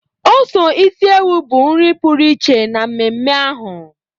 ose isi ewu bụ nri pụrụ iche na mmemme ahụ.